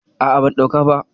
A'a, ban ɗauka ba.